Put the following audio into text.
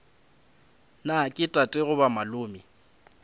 na ke tate goba malome